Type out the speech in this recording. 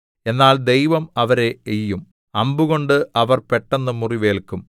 എന്നാൽ ദൈവം അവരെ എയ്യും അമ്പ്കൊണ്ട് അവർ പെട്ടന്ന് മുറിവേല്ക്കും